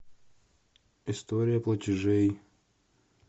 история платежей